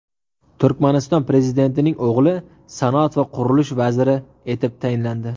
Turkmaniston prezidentining o‘g‘li sanoat va qurilish vaziri etib tayinlandi.